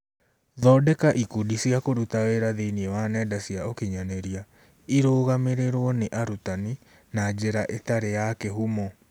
Thondeka ikundi cia kũruta wĩra thĩinĩ wa nenda cia ũkinyanĩria: irũgamĩrĩrwo nĩ arutani (na njĩra ĩtarĩ ya kĩhumo).